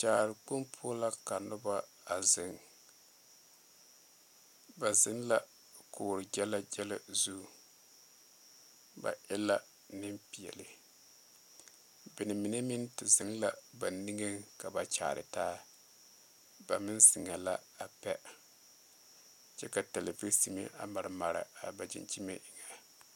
Kyaarekpoŋ poɔ la ka noba a zeŋ ba zeŋ la kogegyɛlɛgyɛlɛ zu ba e la nenpeɛle ba mine meŋ te zeŋ la ba nimitɔɔre a kyaare taa ba meŋ zeŋɛɛ la a pɛ kyɛ ka televisime a mare mare a ba dankyime eŋɛ.